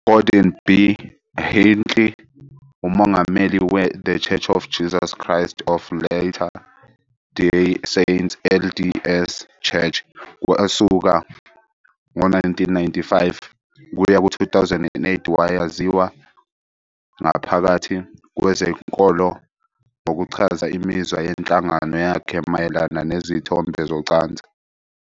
UGordon B. Hinckley, umongameli we-The Church of Jesus Christ of Latter-day Saints, LDS Church, kusuka ngo-1995 kuya ku-2008, wayaziwa ngaphakathi kwezenkolo ngokuchaza imizwa yenhlangano yakhe mayelana nezithombe zocansi.